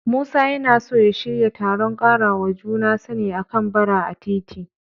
Musa yana so ya shirya taron ƙarawa juna sani a kan Bara a titi.